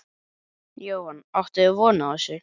Jóhann: Áttuð þið von á þessu?